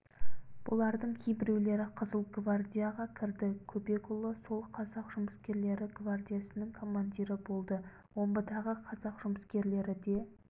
бұлардың кейбіреулері қызыл гвардияға кірді көбекұлы сол қазақ жұмыскерлері гвардиясының командирі болды омбыдағы қазақ жұмыскерлері де